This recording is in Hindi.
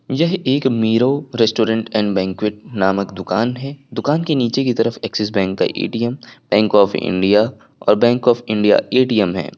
यह एक मेराव रेस्टोरेंट एंड बैंक्विट नामक दुकान है दुकान के नीचे की तरफ एक्सिस बैंक का ए_टी_एम बैंक ऑफ़ इंडिया और बैंक ऑफ़ इंडिया ए_टी_एम है।